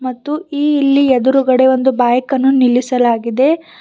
ಮತ್ತು ಈ ಇಲ್ಲಿ ಎದುರುಗಡೆ ಒಂದು ಬೈಕ್ ಅನ್ನು ನಿಲ್ಲಿಸಲಾಗಿದೆ.